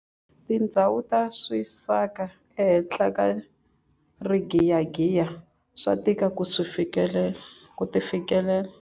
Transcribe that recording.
Tindhawu ta swisaka ehenhla ka rigiyagiya swa tika ku ti fikelela.